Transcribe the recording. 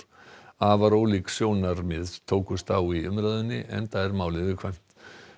afar ólík sjónarmið tókust á í umræðunni enda er málið viðkvæmt